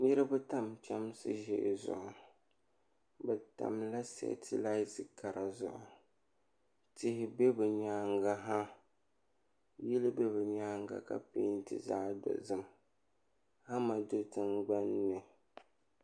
Niriba tam chemsi ʒee zuɣu bɛ tamla setilati kara zuɣu tihi be bɛ nyaanga ha yili be bɛ nyaanga ka penti zaɣa dozim hama do tingbanni.